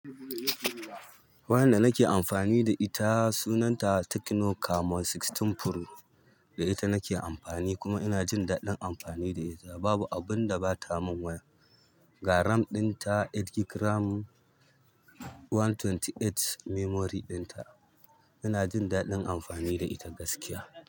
Wayan da nake amfani da ita sunanta Tecno Camon sha shida Pro, da ita nake amfani kuma ina jin daɗin amfani da ita nake amfani kuma ina jin daɗin amfani da it ba abinda bata mun wayan ga RAM ɗinta takwas GB RAM, ɗari da ashirin da takwas memory ɗinta ina jin daɗin amfani da ita gaskiya.